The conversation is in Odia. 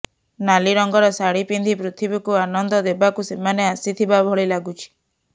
ନାଲି ରଙ୍ଗର ଶାଢ଼ି ପିନ୍ଧି ପୃଥିବୀକୁ ଆନନ୍ଦ ଦେବାକୁ ସେମାନେ ଆସିଥିବା ଭଳି ଲାଗୁଛି